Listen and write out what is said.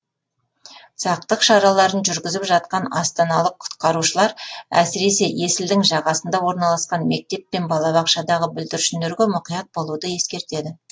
сақтық шараларын жүргізіп жатқан астаналық құтқарушылар әсіресе есілдің жағасында орналасқан мектеп пен балабақшадағы бүлдіршіндерге мұқият болуды ескертеді